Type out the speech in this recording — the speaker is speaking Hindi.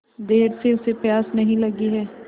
देर से उसे प्यास नहीं लगी हैं